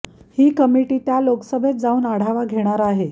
ही committee त्या लोकसभेत जाऊन आढावा घेणार आहे